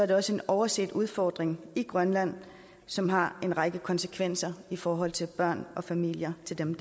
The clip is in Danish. det også en overset udfordring i grønland som har en række konsekvenser i forhold til børn og familier til dem